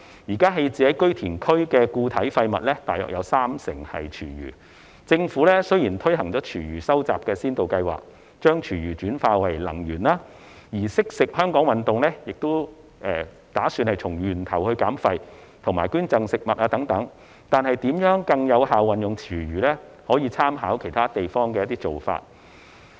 現時棄置於堆填區的固體廢物約有三成為廚餘，政府雖然已推行廚餘收集先導計劃，將廚餘轉化為能源；而"惜食香港運動"也提倡從源頭減廢及捐贈食物等，但如何更有效運用廚餘，可參考其他地方的做法。